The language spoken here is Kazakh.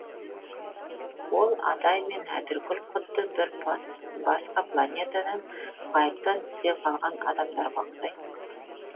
ол адай мен әтіркүл құдды бір басқа планетадан ғайыптан түсе қалған адамдарға ұқсайтын